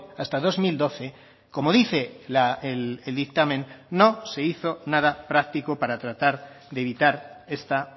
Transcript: hasta dos mil doce como dice el dictamen no se hizo nada práctico para tratar de evitar esta